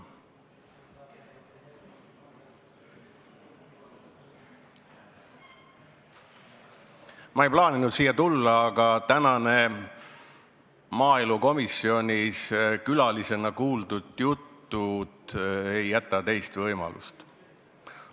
Ma ei plaaninud siia tulla, aga tänased maaelukomisjonis külalisena kuuldud jutud ei jäta teist võimalust.